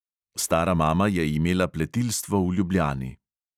Stara mama je imela pletilstvo v ljubljani.